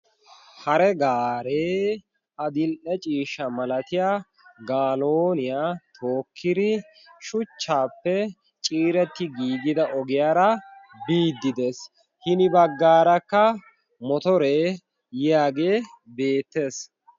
hare gaaree a dil"e ciishsha malatiya galooniyaa tookkiri shuchchaappe ciiretti giigida ogiyaara biiddi dees hini baggaarakka motoree yiyaagee beettees.